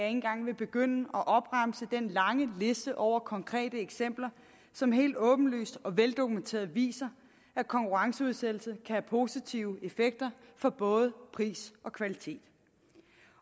engang vil begynde at opremse den lange liste over konkrete eksempler som helt åbenlyst og veldokumenteret viser at konkurrenceudsættelse have positive effekter for både pris og kvalitet